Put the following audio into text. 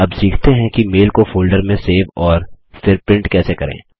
अब सीखते हैं कि मेल को फोल्डर में सेव और फिर प्रिंट कैसे करें